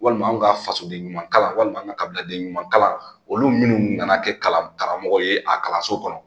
Walima an ka fasoden ɲuman kalan walima an ka kabiladen ɲuman kalan olu minnu nana kɛ kalan karamɔgɔ ye a kalanso kɔnɔ